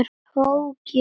Tók ég því?